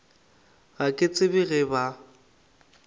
ga ke tsebe ge ba